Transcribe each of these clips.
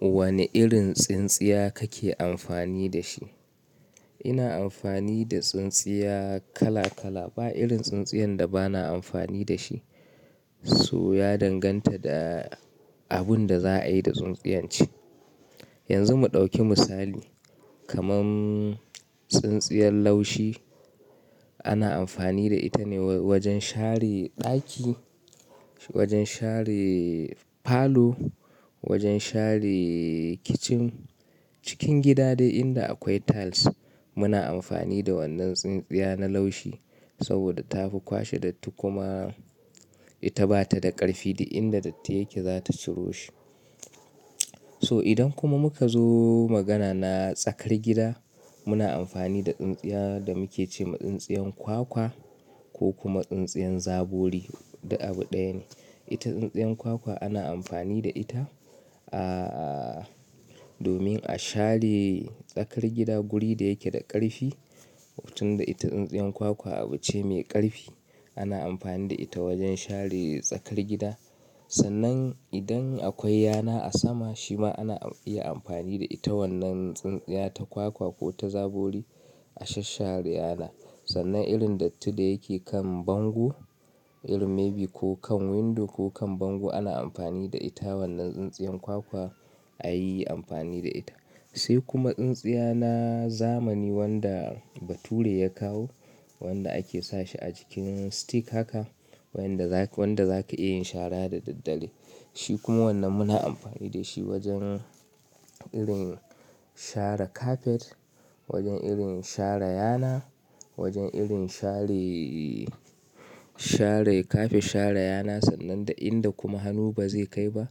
Wane irin tsintsiya kake amfani da shi? Ina amfani da tsintsiya kala kala, ba irin tsintsiyan da bana amfani da shi. So ya danganta da abun da za a yi da tsintsiyan ce. Yanzu mu ɗauki misali, kaman tsintsiyan laushi ana amfani da ita ne wajen share ɗaki, wajen share falo, wajen share kicin, cikin gida dai inda akwai tiles muna amfani da wannan tsintsiya na laushi saboda ta fi kwashe dattin kuma ita bata da ƙarfi duk inda datti yake zata ciro shi. So idan kuma muka zo magana na tsakar gida, muna amfani da tsintsiya da muke ce ma tsintsiyan kwakwa ko kuma tsintsiyan zabori, duk abu ɗaya ne. Ita tsintsiyan kwakwa ana amfani da ita, ah, domin a share tsakar gida guri da yake da ƙarfi, tun da ita tsintsiyan kwakwa abu ce mai ƙarfi. Ana amfani da ita wajen share tsakar gida. Sannan idan akwai yana a sama, shi ma ana iya amfani da ita wannan tsintsiya ta kwakwa ko ta zabori a shash share yana. Sannan irin dattin da yake kan bango, irin maybe ko kan window ko kan bango, ana amfani da ita wannan tsintsiyan kwakwa ayi amfani da ita. Sai kuma tsintsiya na zamani wanda bature ya kawo, wanda ake sashi a jikin stick haka, wanda zaka, wanda zaka iya yin shara da daddare. Shi kuma wannan muna amfani da shi wajen irin share kafet, wajen irin share yana, wajen irin share, share kafet, share yana, sannan da inda kuma hannu ba zai kai ba,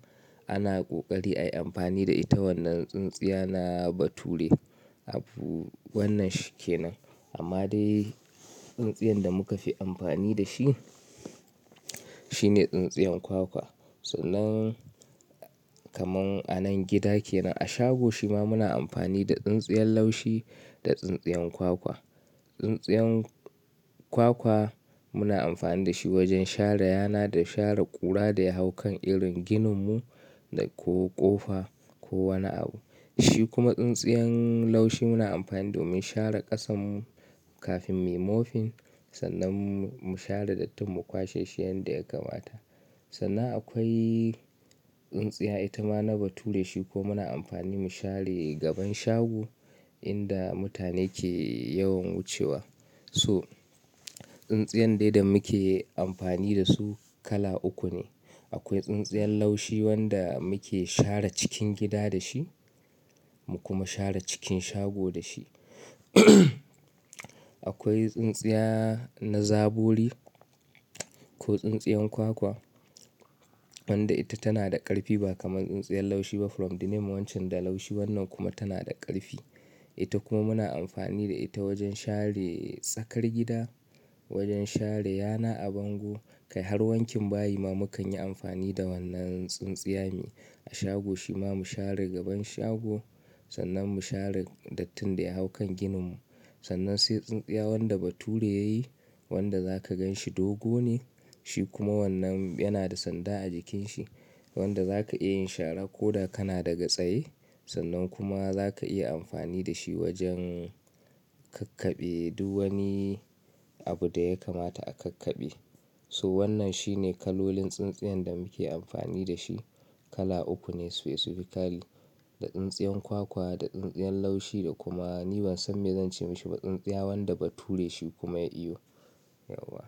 ana ƙoƙari ayi amfani da ita wannan tsintsiya na bature. Abu wannan shi ke nan. Amma dai tsintsiyan da muka fi amfani da shi, shine tsintsiyan kwakwa. Sannan kaman anan gida kenan, a shago shi ma muna amfani da tsintsiyan laushi da tsintsiyan kwakwa. Tsintsiyan kwakwa muna amfani da shi wajen share yana da share ƙura da ya hau kan irin ginin mu da ko ƙofa ko wani abu. Shi kuma tsintsiyan laushi muna amfani domin share ƙasan mu kafin mu yi mopping, sannan mu share dattin mu kwashe shi yanda ya kamata. Sannan akwai tsintsiya ita ma na bature shi ko muna amfani mu share gaban shago inda mutane ke yawan wucewa. So, tsintsiyan dai da muke amfani da su kala uku ne. Akwai tsintsiyan laushi wanda muke share cikin gida da shi, mu kuma share cikin shago da shi. Akwai tsintsiya na zabori ko tsintsiyan kwakwa wanda ita tana da ƙarfi ba kamar tsintsiyan laushi ba from the name wancen da laushi wannan kuma tana da ƙarfi. Ita kuma muna amfani da ita wajen share tsakar gida, wajen share yana a bango, kai har wankin bayi ma mukan yi amfani da wannan tsintsiya ne. A shago shi ma mu share gaban shago, sannan mu share dattin da ya hau kan ginin mu. Sannan sai tsintsiya wanda bature yayi, wanda zaka gan shi dogo ne, shi kuma wannan yana da sanda a jikin shi wanda zaka iya yin shara ko da kana daga tsaye. Sannan kuma zaka iya amfani da shi wajen ƙakkaɓe duk wani abu da ya kamata a ƙakkaɓe. So wannan shine kalolin tsintsiyan da muke amfani da shi. Kala uku ne specifically, da tsintsiyan kwakwa, da tsintsiyan laushi da kuma ni ban san me zan ce mashi ba, tsintsiya wanda bature shi kuma ya iyo yauwa.